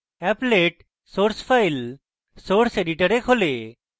applet source file source editor খোলে